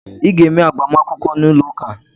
Ị ga eme -agbamakwụkwọ n’ụlọ ụka